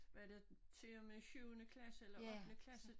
Var det til og med syvende klasse eller ottende klasse